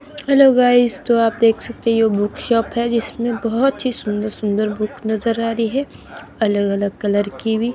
Hello guys तो आप देख सकते है ये बुक शॉप है जिसमें बहोत ही सुंदर सुंदर बुक नजर आ रही है अलग अलग कलर की भी।